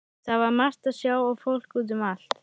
Það var margt að sjá og fólk út um allt.